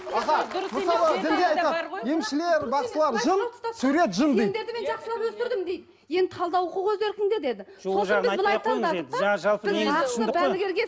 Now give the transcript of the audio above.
аға мысалы дінде айтады емшілер бақсылар жын сурет жын дейді сендерді жақсылап өсірдім дейді енді талдау құқығы өз еркіңде деді